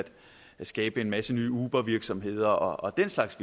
skabe en masse nye ubervirksomheder og den slags